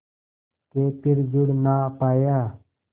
के फिर जुड़ ना पाया